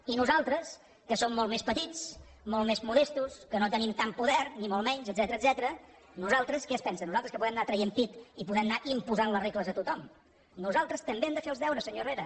i nosaltres que som molt més petits molt més modestos que no tenim tant poder ni molt menys etcètera nosaltres què es pensa que podem anar traient pit i podem anar imposant les regles a tothom nosaltres també hem de fer els deures senyor herrera